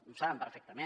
ho saben perfectament